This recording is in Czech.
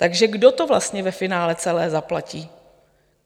Takže kdo to vlastně ve finále celé zaplatí?